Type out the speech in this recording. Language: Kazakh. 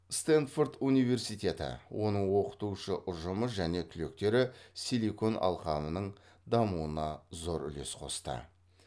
стэнфорд университеті оның оқытушы ұжымы және түлектері силикон алқабының дамуына зор үлес қосты